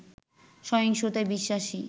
সহিংসতায় বিশ্বাসী